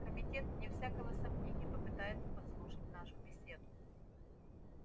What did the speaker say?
комитет вне всякого сомнения попытается подслушать нашу беседу